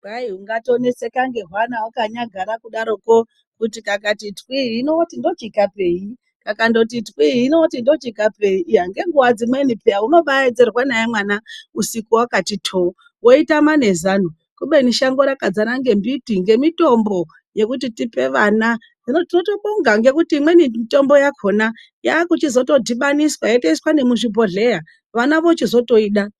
Kwai ungatoneseka ngehwana wakanyagara kudaroko, kuti kakati twii hino woti ndochikapeyi, kakandoti twii hino woti ndochikapei. Iya ngenguwa dzimweni pheya unobaaedzerwa naye mwana usiku wakati thoo weitama nezano. Kubeni shango rakadzara ngembiti, ngemitombo yekuti tipe vana. Hino tinotobonga ngekuti imweni mitombo yakhona yaakuchizotodhibaniswa yotoiswa nemuzvibhodhleya, vana vochizotoida.